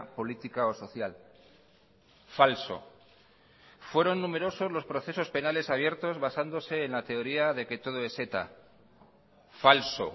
política o social falso fueron numerosos los procesos penales abiertos basándose en la teoría de que todo es eta falso